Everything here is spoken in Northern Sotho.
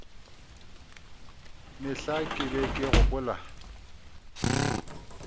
mehla ke be ke gopola